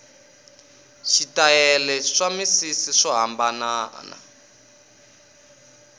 switayele swa misisi swo hambanana